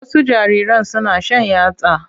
Wasu jariran suna shan yatsa.